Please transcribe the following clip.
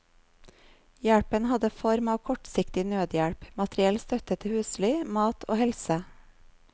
Hjelpen hadde form av kortsiktig nødhjelp, materiell støtte til husly, mat og helse.